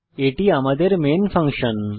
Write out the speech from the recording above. এই আমাদের main function